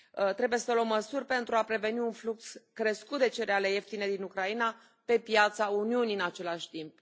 Trebuie să luăm măsuri pentru a preveni un flux crescut de cereale ieftine din Ucraina pe piața Uniunii în același timp.